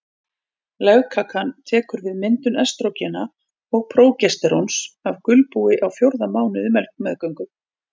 Legkakan tekur við myndun estrógena og prógesteróns af gulbúi á fjórða mánuði meðgöngu.